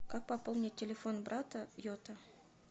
как пополнить телефон брата йота